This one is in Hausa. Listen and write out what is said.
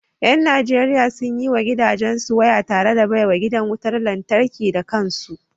Yan Najeriya sun yi wa gidansu waya tare da baiwa gidan wutar lantarki da kansu